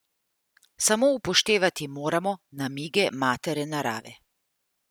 Samo upoštevati moramo namige matere Narave.